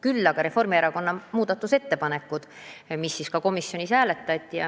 Küll olid Reformierakonna fraktsiooni muudatusettepanekud, mida komisjonis ka hääletati.